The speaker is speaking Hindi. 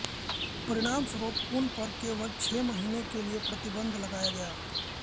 परिणामस्वरुप उन पर केवल छह महीने के लिए प्रतिबंध लगाया गया